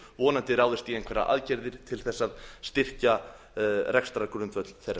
vonandi ráðist í einhverjar aðgerðir til þess að styrkja rekstrargrundvöll þeirra